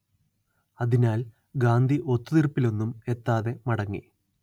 അതിനാൽ ഗാന്ധി ഒത്തുതീർപ്പിലൊന്നും എത്താതെ മടങ്ങി